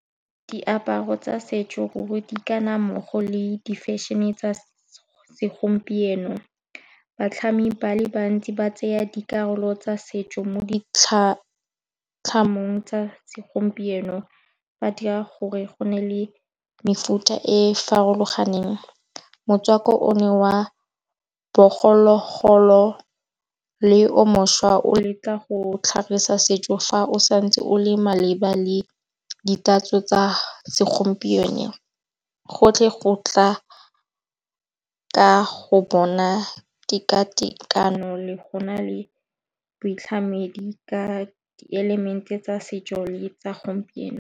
Diaparo tsa setso di ka nna mmogo le di fešhene e tsa segompieno, batlhami ba le bantsi ba tsaya dikarolo tsa setso mo di tlhamong tsa segompieno. Ba dira gore go nne le mefuta e farologaneng, motswako o ne wa bogologolo le o mošwa o leka go tlhagisa setso fa o santse o le maleba le ditatso tsa segompieno. Gotlhe go tla ka go bona tekatekano le go na le boitlhamedi ka di elemente tsa setso le tsa gompieno.